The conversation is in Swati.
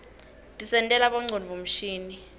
tisentela bongcondvo mshini